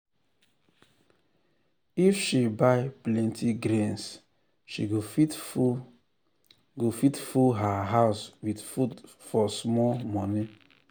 if she buy plenty grains she go fit full go fit full her house with food for small money.